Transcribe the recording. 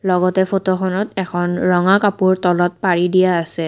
লগতে ফটোখনত এখন ৰঙা কাপোৰ তলত পাৰি দিয়া আছে।